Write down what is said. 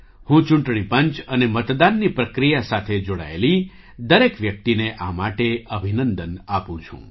હું ચૂંટણી પંચ અને મતદાનની પ્રક્રિયા સાથે જોડાયેલી દરેક વ્યક્તિને આ માટે અભિનંદન આપું છું